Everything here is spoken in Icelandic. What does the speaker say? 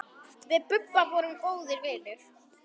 Við Bubba vorum góðir vinir.